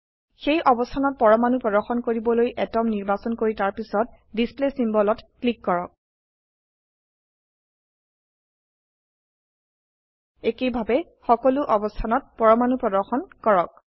সেই অবস্থানত পৰমাণু প্ৰদৰ্শন কৰিবলৈ আতম নিৰ্বাচন কৰি তাৰপিছত ডিছপ্লে চিম্বল ত ক্লিক কৰক একেইভাবে সকলো অবস্থানত পৰমাণু প্ৰদৰ্শন কৰক